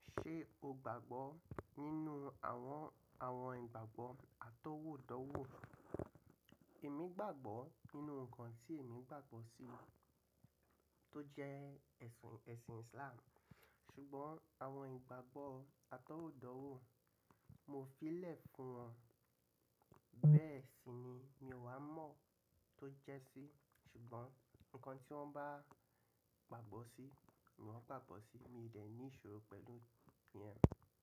Ṣé o gbàgbọ́ nínú àwọn, àwọn ìgbàgbọ́ atọ́wọ́dọ́wọ́? Èmi gbàgbọ́ nínú ǹkan tí èmi gbàgbọ́ sí tó jẹ́ ẹ̀sìn, ẹ̀sìn Islam. Ṣùgbọ́n àwọn ìgbàgbọ́ atọ́wọ́dọ́wọ́ mo fi lẹ̀ fún wọn. Bẹ́ẹ̀ sì ni mi ò wá mọ̀ tó jẹ́ sí, ṣùgbọ́n ǹkan tí wọ́n bá gbàgbọ́ sí, nìwọ́n gbàgbọ́ sí, mi ò dẹ̀ ní ìṣòro pẹ̀lú ìyẹn.